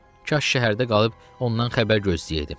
Kaş şəhərdə qalıb ondan xəbər gözləyərdim.